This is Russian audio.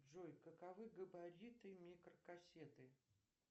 джой каковы габариты микрокассеты